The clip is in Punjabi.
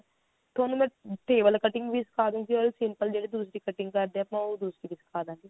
ਥੋਨੂੰ ਮੈਂ table cutting ਵੀ ਸਿਖਾਦੁਂਗੀ or simple ਜਿਹੜੇ ਤੁਸੀਂ cutting ਕਰਦੇ ਉਹ ਵੀ ਸਿਖਾ ਦਵਾਂਗੀ